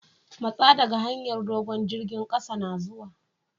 Matsa dage hanyar dogo'n! jirigin kasa na zuwa!